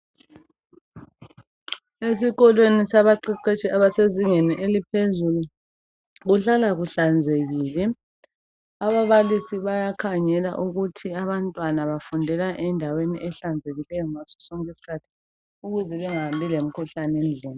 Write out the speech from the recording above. Esikolweni sabaqeqetshi basezingeni eliphezulu ,kuhlala kuhlanzekile ababalisi bayakhangela ukuthi abantwana bafundela endaweni ehlanzekileyo ngasosonke iskhathi ukuze bangahambi lemikhuhlane endlini.